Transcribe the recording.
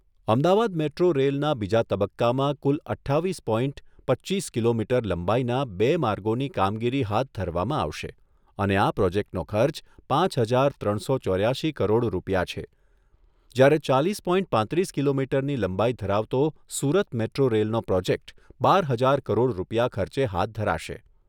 Ahmedabad metro રેલના બીજા તબક્કામાં કુલ અઠ્ઠાવીસ પોઇન્ટ પચ્ચીસ કિલોમીટર લંબાઈના બે માર્ગોની કામગીરી હાથ ધરવામાં આવશે, અને આ પ્રોજેક્ટોનો ખર્ચ પાંચ હજાર ત્રણસો ચોર્યાશી કરોડ રૂપિયા છે જ્યારે ચાલીસ પોઇન્ટ પાંત્રીસ કિલોમીટરની લંબાઈ ધરાવતો સુરત મેટ્રો રેલનો પ્રોજેક્ટ બાર હજાર કરોડ રૂપિયા ખર્ચે હાથ ધરાશે.